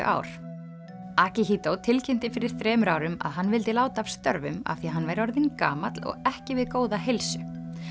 ár tilkynnti fyrir þremur árum að hann vildi láta af störfum af því að hann væri orðinn gamall og ekki við góða heilsu